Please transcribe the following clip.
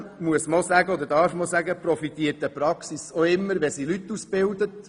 Zudem profitiert man beim Ausbilden der Leute auch immer selber.